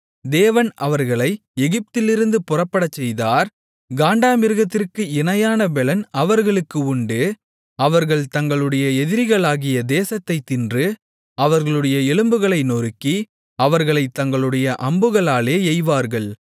தேவன் அவர்களை எகிப்திலிருந்து புறப்படச்செய்தார் காண்டாமிருகத்திற்கு இணையான பெலன் அவர்களுக்கு உண்டு அவர்கள் தங்களுடைய எதிரிகளாகிய தேசத்தை தின்று அவர்களுடைய எலும்புகளை நொறுக்கி அவர்களைத் தங்களுடைய அம்புகளாலே எய்வார்கள்